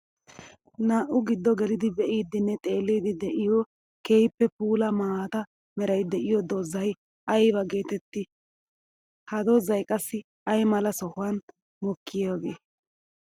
Naa'u giddo geliddi be'iddinne xeelliddi de'iyo keehippe puula maata meray de'iyo doozay aybba geetetti? Ha doozay qassi ay mala sohuwan mokkiyage?